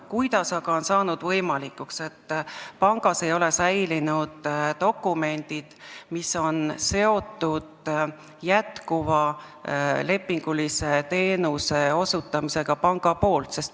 Kuidas aga on saanud võimalikuks, et pangas ei ole säilinud dokumendid, mis on seotud panga jätkuva lepingulise teenuse osutamisega?